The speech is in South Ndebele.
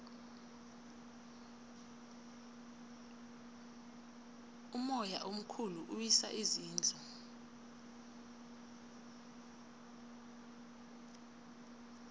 umoya omkhulu uwisa izindlu